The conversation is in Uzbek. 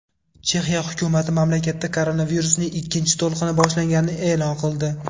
Chexiya hukumati mamlakatda koronavirusning ikkinchi to‘lqini boshlanganini e’lon qildi.